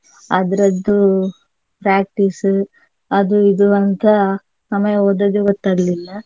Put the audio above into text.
ಅದ್ರದ್ದು practice ಅದು ಇದು ಅಂತ ಸಮಯ ಹೋದದ್ದೇ ಗೊತ್ತಾಗ್ಲಿಲ್ಲ.